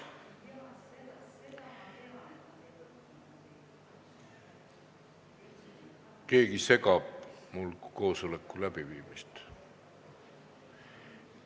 Keegi segab mul koosoleku läbiviimist!